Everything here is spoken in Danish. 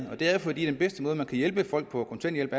og det er fordi den bedste måde man kan hjælpe folk på kontanthjælp